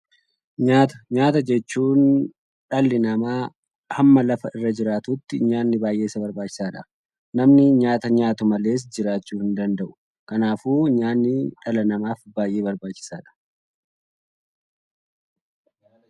Nyaata: Nyaata jechuun dhalli namaa hamma lafa irra jiraatutti nyaanni baay'ee isa barbaachisaadha. Namni nyaata nyaatu malees jiraavmxhuu hin danda’u. Kanaafuu nyaanni dhala namaaf baay'ee barbaachisaadha.